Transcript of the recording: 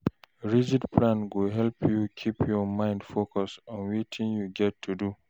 Rigid plan go help you keep your mind focused on wetin you get to do